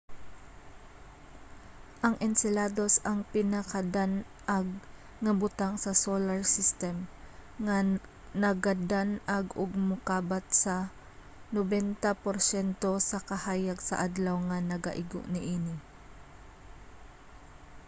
ang enceladus ang pinakadan-ag nga butang sa solar system nga nagadan-ag og mokabat sa 90 porsyento sa kahayag sa adlaw nga nagaigo niini